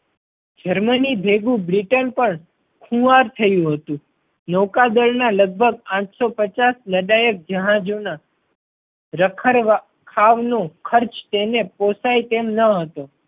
Germany ભેગું Britain પણ ખુવાર થયું હતું. નૌકા દળ ના લગભગ આઠ સૌ પચાસ લડાયક જહાજો ના રખરવા ખાવ નો ખર્ચ તેણે પોસાય તેમ ન હતો.